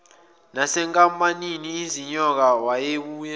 nasenkampanini izinyoka wayebuye